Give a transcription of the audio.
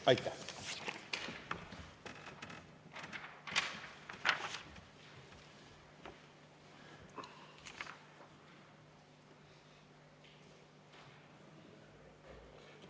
Aitäh!